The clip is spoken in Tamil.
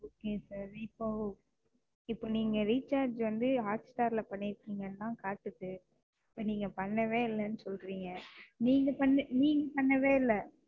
Okay sir இப்ப இப்ப நீங்க Recharge வந்து Hotstar ல பண்ணிருக்கீங்கன்னு தான் காட்டுது. இப்ப நீங்க பண்ணவே இல்லைன்னு சொல்றீங்க. நீங்க பண்ண நீங்க பண்ணவே இல்லை.